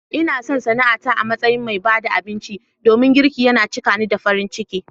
Ina son sana'ata a matsayin mai ba da abinci domin girki yana cika ni da farin ciki.